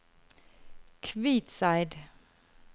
Kvitseid